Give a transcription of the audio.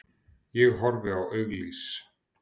Ég horfi á auglýs